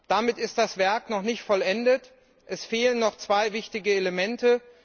Damit ist das Werk noch nicht vollendet Es fehlen noch zwei wichtige Elemente.